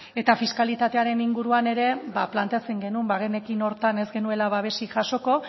eta fiskalitatearen inguruan ere ba planteatzen genuen bagenekien horretan ez genuela babesik jaso